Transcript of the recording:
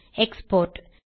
export